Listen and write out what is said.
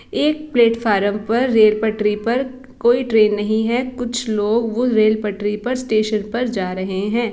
एक प्लेटफार्म पर रेल पटरी पर कोई ट्रेन नहीं है। कुछ लोग वो रेल पटरी पर स्टेशन पर जा रहे है।